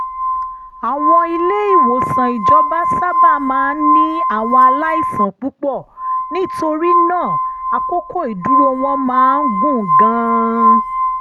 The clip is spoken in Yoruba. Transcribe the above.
àwọn ilé-ìwòsàn ìjọba sábà máa ń ní àwọn aláìsàn púpọ̀ nítorí náà àkókò ìdúró wọn máa ń gùn gan-an